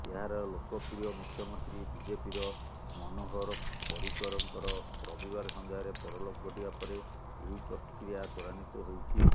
ଏହାର ଲୋକପ୍ରିୟ ମୁଖ୍ୟମନ୍ତ୍ରୀ ବିଜେପିର ମନୋହର ପରିକରଙ୍କର ରବିବାର ସନ୍ଧ୍ୟାରେ ପରଲୋକ ଘଟିବାପରେ ଏହି ପ୍ରକ୍ରିୟା ତ୍ବରାନ୍ବିତ ହୋଇଛି